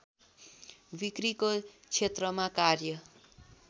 बिक्रीको क्षेत्रमा कार्य